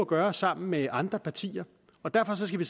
gøre sammen med andre partier og derfor skal vi